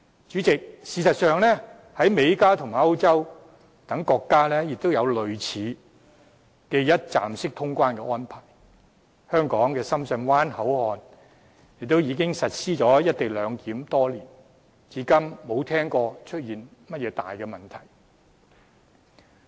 主席，事實上，在美國、加拿大和歐洲等國家亦有類似的一站式通關安排，香港深圳灣口岸亦已實施"一地兩檢"多年，至今沒聽到出現甚麼大問題。